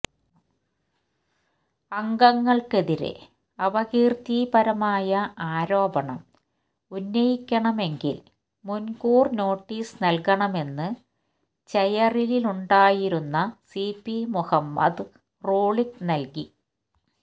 അംഗങ്ങള്ക്കെതിരെ അപകീര്ത്തിപരമായ ആരോപണം ഉന്നയിക്കണമെങ്കില് മുന്കൂര് നോട്ടീസ് നല്കണമെന്ന് ചെയറിലുണ്ടായിരുന്ന സി പി മുഹമ്മദ് റൂളിംഗ് നല്കി